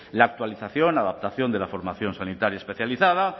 la actualización adaptación de la formación sanitaria especializada